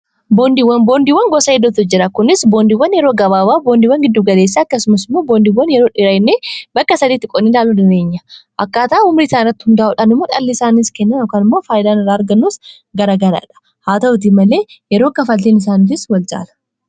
Boondiiwwan gosa hedduutu jiru. Isaanis: boondiiwwan yeroo gabaabaa, boondiiwwan yeroo giddu-galeessaa, akkasumas boondiiwwan yeroo dheeraa jedhamanii bakka sadiitti qoodamu. Akkaataa umrii isaanii irratti hundaa’uun bu'aan (interest) isaan irraa argamu ykn kaffaltiin isaanii wal-caala; haa ta'u malee, faayidaan isaan irraa argamu garagara.